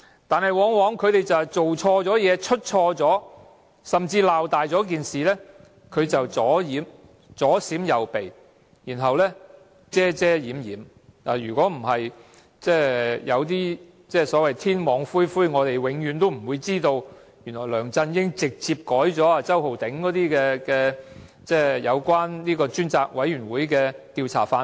但是，他們犯錯甚至把事情鬧大之後，往往只會左閃右避，然後遮遮掩掩，如果不是所謂天網恢恢，我們永遠不會知道，原來梁振英直接修改了由周浩鼎議員提供有關專責委員會的調查範圍。